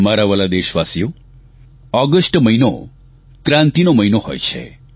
મારા વ્હાલા દેશવાસીઓ ઓગષ્ટ મહિનો ક્રાંતિનો મહિનો હોય છે